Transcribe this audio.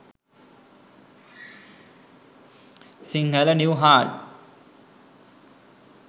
sinhala new hard